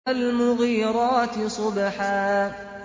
فَالْمُغِيرَاتِ صُبْحًا